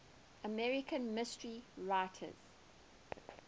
american mystery writers